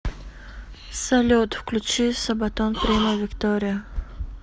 салют включи сабатон примо виктория